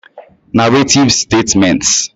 Narrative Statements